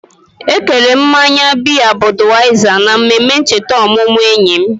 Ekere mmanya biya Budweiser na mmemme ncheta ọmụmụ enyi m.